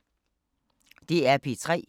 DR P3